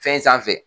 Fɛn sanfɛ